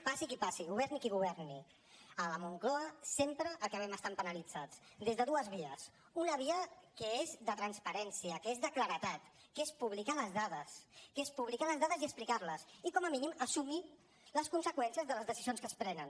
passi qui passi governi qui governi a la moncloa sempre acabem estant penalitzats des de dues vies una via que és de transparència que és de claredat que és publicar les dades que és publicar les dades i explicar les i com a mínim assumir les conseqüències de les decisions que es prenen